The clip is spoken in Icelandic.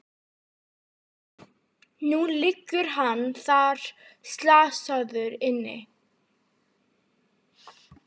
Og nú liggur hann slasaður þarna inni.